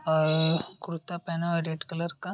अ कुर्ता पहना है red colour का।